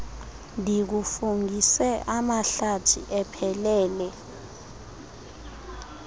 ndikufungise amahlathi ephelele